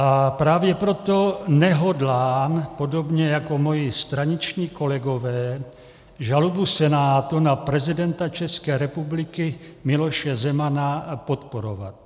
A právě proto nehodlám, podobně jako moji straničtí kolegové, žalobu Senátu na prezidenta České republiky Miloše Zemana podporovat.